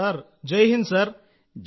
sir Jai Hind |